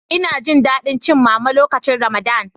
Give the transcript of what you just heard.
Ina Jin dadi cin mama lokacin ramadan.